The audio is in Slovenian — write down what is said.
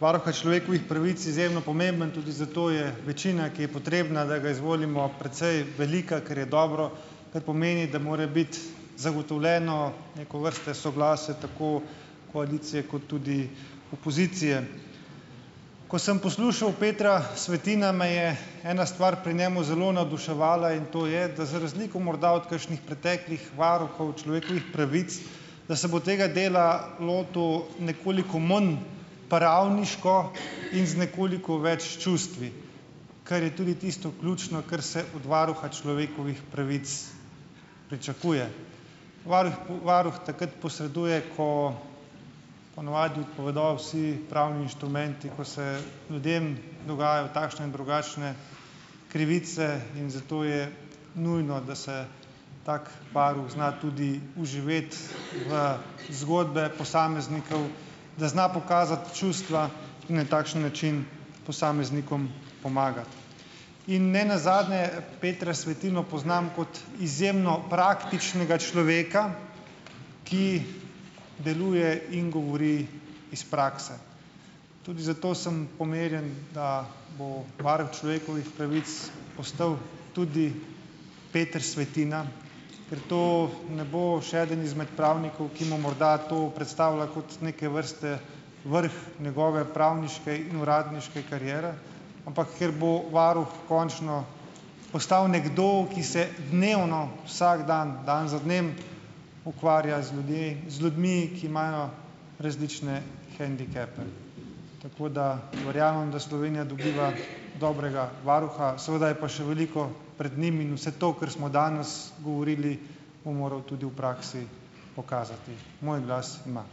varuha človekovih pravic izjemno pomembno, tudi zato je večina, ki je potrebna, da ga izvolimo precej velika, kar je dobro, kar pomeni, da more biti zagotovljeno neko vrste soglasje tako koalicije kot tudi opozicije. Ko sem poslušal Petra Svetina, me je ena stvar pri njemu zelo navduševala, in to je, da za razliko morda od kakšnih preteklih varuhov človekovih pravic, da se bo tega dela lotil nekoliko manj pravniško in z nekoliko več čustvi, kar je tudi tisto ključno, kar se od varuha človekovih pravic pričakuje. Varuh varuh takrat posreduje, ko po navadi odpovedo vsi pravni inštrumenti, ko se ljudem dogajajo takšne in drugačne krivice, in zato je nujno, da se tako varuh zna tudi vživeti v zgodbe posameznikov, da zna pokazati čustva in na takšen način posameznikom pomagati. In nenazadnje Petra Svetino poznam kot izjemno praktičnega človeka, ki deluje in govori iz prakse. Tudi zato sem pomirjen, da bo varuh človekovih pravic postal tudi Peter Svetina, ker to ne bo še eden izmed pravnikov, ki mu morda to predstavlja kot neke vrste vrh njegove pravniške in uradniške kariere, ampak ker bo varuh končno postal nekdo, ki se dnevno vsak dan, dan za dnem ukvarja z ljudje z ljudmi, ki imajo različne hendikepe. Tako da verjamem, da Slovenija dobiva dobrega varuha, seveda je pa še veliko pred njim in vse to, kar smo danes govorili, bo moral tudi v praksi pokazati. Moj glas ima.